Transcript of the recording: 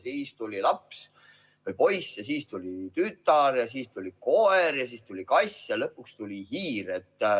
Siis tuli laps, poiss ja siis tuli tütar ja siis tuli koer ja siis tuli kass ja lõpuks tuli hiir.